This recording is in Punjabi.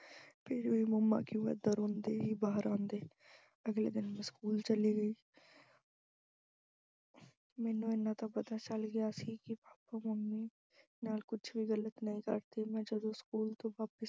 ਫਿਰ ਵੀ mummy ਕਿਉਂ ਐਦਾ ਰੋਂਦੇ ਹੀ ਬਾਹਰ ਆਉਂਦੇ, ਅਗਲੇ ਦਿਨ ਮੈਂ school ਚਲੀ ਗਈ ਅਹ ਮੈਨੂੰ ਐਨਾ ਤਾਂ ਪਤਾ ਚੱਲ ਗਿਆ ਸੀ ਕਿ papa mummy ਨਾਲ ਕੁੱਝ ਵੀ ਗਲਤ ਨਹੀਂ ਕਰਦੇ, ਮੈਂ ਜਦੋਂ school ਤੋਂ ਵਾਪਿਸ